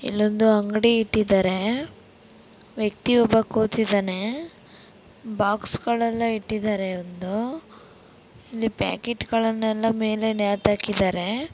ಇಲ್ಲೊಂದು ಅಂಗಡಿ ಇಟ್ಟಿದ್ದಾರೆ ವ್ಯಕ್ತಿ ಒಬ್ಬ ಕೂತಿದ್ದಾನೆ ಬಾಕ್ಸ್ಗಳಲ್ಲಿ ಇಟ್ಟಿದ್ದಾರೆ ಮುಂದೆ ಪ್ಯಾಕೆಟ್ಗಳೆಲ್ಲ ಮೇಲೆ ನೆತಾಕಿದಾರೆ.